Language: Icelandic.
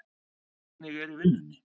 Hvernig er í vinnunni?